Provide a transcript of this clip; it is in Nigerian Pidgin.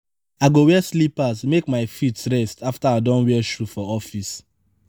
i go wear slippers make my feet rest afta i don wear shoe for office.